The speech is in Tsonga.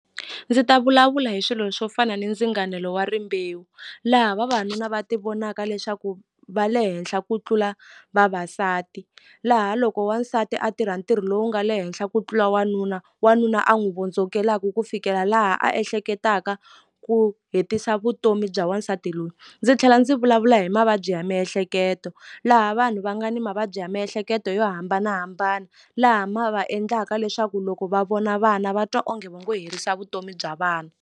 Ndzi ta vulavula hi swilo swo fana ni ndzinganelo wa rimbewu laha vavanuna va ti vonaka leswaku va le henhla ku tlula vavasati laha loko wansati a tirha ntirho lowu nga le henhla ku tlula wanuna wanuna a n'wi vondzokelaku ku fikela laha a ehleketaka ku hetisa vutomi bya wansati loyi ndzi tlhela ndzi vulavula hi mavabyi ya miehleketo laha vanhu va nga ni mavabyi ya miehleketo yo hambanahambana laha ma va endlaka leswaku loko va vona vana va twa onge vo ngo herisa vutomi bya vana.